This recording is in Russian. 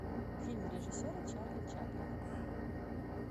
фильм режиссера чарли чаплина